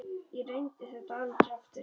Ég reyndi þetta aldrei aftur.